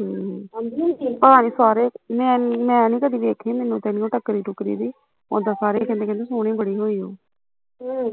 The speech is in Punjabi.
ਹਮ ਮੈਨੀ ਕਦੀ ਦੇਖੀ ਮੈਨੂੰ ਤੇ ਨੀ ਉਹ ਟਕਰੀ ਟੁਕਰੀ ਵੀ, ਓਦਾ ਸਾਰੇ ਕਹਿੰਦੇ ਕਹਿੰਦੇ ਸੋਹਣੀ ਬੜੀ ਹੋਈ ਓ ਅਹ